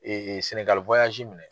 Ee senegali minɛ.